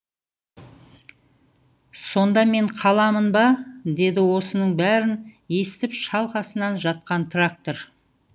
сонда мен қаламын ба деді осының бәрін естіп шалқасынан жатқан трактор